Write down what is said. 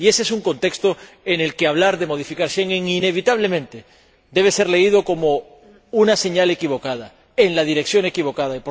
Y ese es un contexto en el que hablar de modificar Schengen inevitablemente debe ser leído como una señal equivocada, en la dirección equivocada.